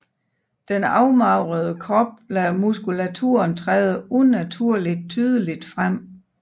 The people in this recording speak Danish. Den afmagrede krop lader muskulaturen træde unaturligt tydeligt frem